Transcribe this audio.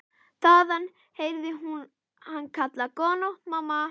Þaðan heyrði hún hann kalla: Góða nótt mamma.